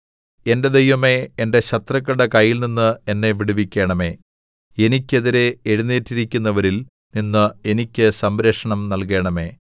എന്റെ ദൈവമേ എന്റെ ശത്രുക്കളുടെ കൈയിൽനിന്ന് എന്നെ വിടുവിക്കണമേ എനിയ്ക്ക് എതിരെ എഴുന്നേറ്റിരിക്കുന്നവരിൽ നിന്ന് എനിക്ക് സംരക്ഷണം നൽകണമേ